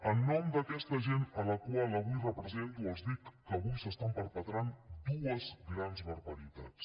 en nom d’aquesta gent a la qual avui represento els dic que avui s’estan perpetrant dues grans barbaritats